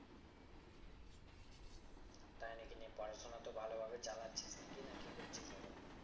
তাই নাকি দিয়ে পড়াশোনা তো ভালো ভাবেই চালাচ্ছিস নাকি না কি করছিস এখন?